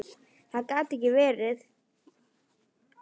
Það gat ekki verið.